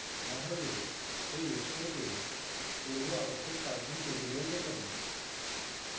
না হলে এই website পূর্বআবশ্যক python tutorials দেখুন